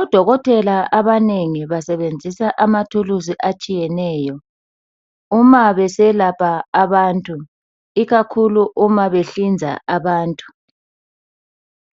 Odokotela abanengi basebenzisa amathuluzi atshiyeneyo uma beselapha abantu, ikakhulu uma behlinza abantu.